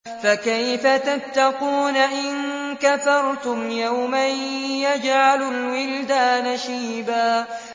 فَكَيْفَ تَتَّقُونَ إِن كَفَرْتُمْ يَوْمًا يَجْعَلُ الْوِلْدَانَ شِيبًا